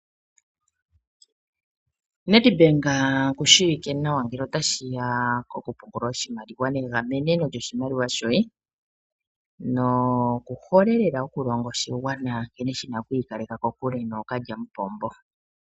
Nedbank oku shiwike nawa ngele ota shi ya ko ku pungula oshimaliwa, negamenemo lyoshimaliwa shoye. Noku hole lela oku longa oshigwana nkene shi na oku ikaleka kokule nookalyamupombo.